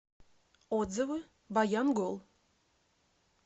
отзывы баянгол